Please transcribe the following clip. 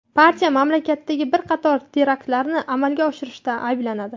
Partiya mamlakatdagi bir qator teraktlarni amalga oshirishda ayblanadi.